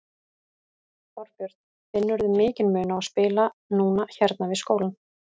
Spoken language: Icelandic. Þorbjörn: Finnurðu mikinn mun á að spila núna hérna við skólann?